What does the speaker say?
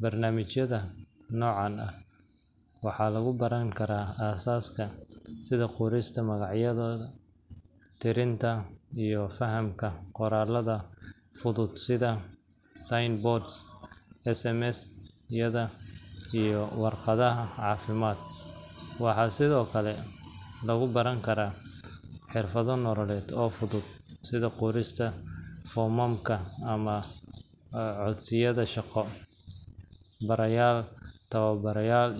Barnaamijyada noocan ah waxaa lagu baran karaa aasaaska sida qorista magacyadooda, tirinta, iyo fahamka qoraallada fudud sida sign boards, SMS-yada, iyo warqadaha caafimaad. Waxaa sidoo kale lagu baran karaa xirfado nololeed oo fudud sida qorista foomamka ama codsiyada shaqo. Barayaal tababaran.